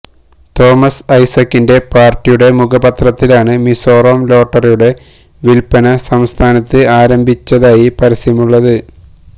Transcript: Thomas ഐസക്കിന്റെ പാര്ട്ടിയുടെ മുഖപത്രത്തിലാണ് മിസോറാം ലോട്ടറിയുടെ വില്പന സംസ്ഥാനത്ത് ആരംഭിച്ചതായി പരസ്യമുള്ളത്